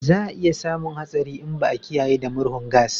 Za a iya samun hatsari in ba a kiyaye da murhun gas